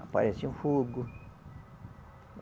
Aparece um fogo.